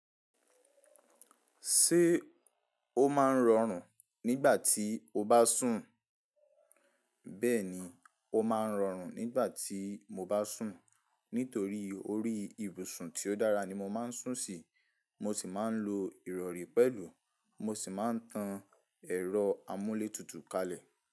Ṣé o máa ń rọrùn nígbà tí o bá sùn? Bẹ́ẹ̀ni, mo máa ń rọrùn nígbà tí mo bá sùn. Nítorí orí ìbùsùn tí ó dára ni mo máa ń sùn sí. Mo sì máa ń lo ìrọ̀rí pẹ̀lú. Mo sì máa ń tan ẹ̀rọ amúlé tutù kalẹ̀.